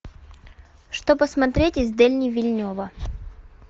что посмотреть из дени вильнева